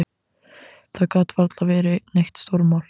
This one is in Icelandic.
Það gat varla verið neitt stórmál.